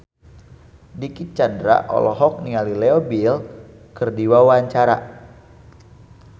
Dicky Chandra olohok ningali Leo Bill keur diwawancara